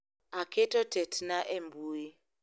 Aketo tetna e mbui